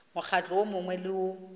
mokgatlo wo mongwe le wo